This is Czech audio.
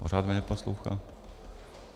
Pořád mě neposlouchá.